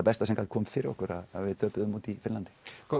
besta sem gat komið fyrir okkur að við töpuðum úti í Finnlandi